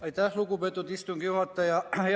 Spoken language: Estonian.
Aitäh, lugupeetud istungi juhataja!